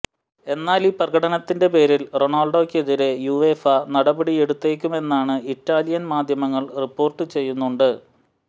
എന്നാലീ പ്രകടനത്തിന്റെ പേരിൽ റൊണാൾഡോയ്ക്കെതിരെ യുവേഫ നടപടിയെടുത്തേക്കുമെന്നാണ് ഇറ്റാലിയൻ മാധ്യമങ്ങൾ റിപ്പോർട്ട് ചെയ്യുന്നുണ്ട്